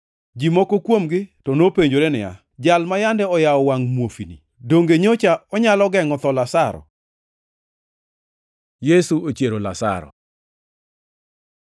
Ji moko kuomgi to nopenjore niya, “Jal ma yande oyawo wangʼ muofuni, donge nyocha onyalo gengʼo tho Lazaro?” Yesu ochiero Lazaro